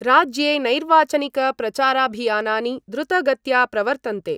राज्ये नैर्वाचनिकप्रचाराभियानानि द्रुतगत्या प्रवर्तन्ते।